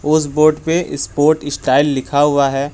उस बोर्ड पे support style लिखा हुआ है।